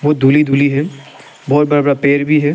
धुली धुली है बहोत बड़ा बड़ा पेर भी है।